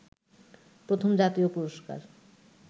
প্রথম জাতীয় পুরষ্কার